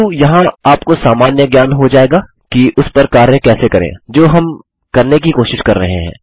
किन्तु यहाँ आपको सामान्य ज्ञान हो जाएगा कि उस पर कार्य कैसे करें जो हम करने की कोशिश कर रहे हैं